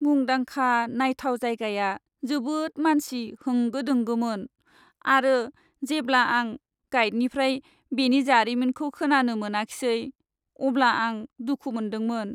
मुंदांखा नायथाव जायगाया जोबोद मानसि होंगो दोंगोमोन, आरो जेब्ला आं गाइदनिफ्राय बेनि जारिमिनखौ खोनानो मोनाखिसै अब्ला आं दुखु मोनदोंमोन।